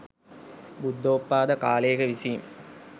බුද්ධෝත්පාද කාලයක විසීම